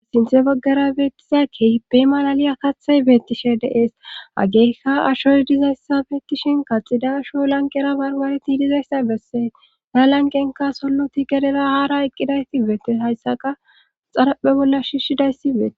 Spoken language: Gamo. sinthe baggara beettizakkebe malali akathay beettishe deeesa ageekka ashoy dizayssa beettishin kaxida asho lanqera bargareti dizayssa bessee ya lanqenka solloti gedera haara eqqidayti beettes hayssaqa xaraphe bolla shishshidayssi bei